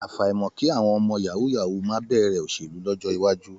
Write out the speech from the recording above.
Àfàìmọ̀ kí àwọn ọmọ yàwúú-yawuù má bẹ̀rẹ̀ òṣèlú lọ́jọ́ iwájú.